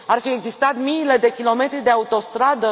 Ar fi existat miile de kilometri de autostradă?